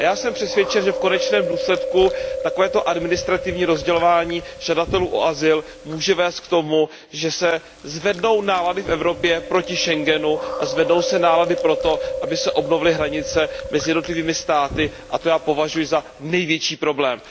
A já jsem přesvědčen, že v konečném důsledku takové administrativní rozdělování žadatelů o azyl může vést k tomu, že se zvednou nálady v Evropě proti schengenskému prostoru. A zvednou se nálady pro to, aby se obnovily hranice mezi jednotlivými státy, a to já považuji za největší problém.